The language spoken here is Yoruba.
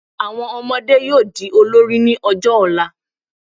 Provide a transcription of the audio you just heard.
Àwọn ọmọdé yóò di olórí ní ọjọ́ ọ̀la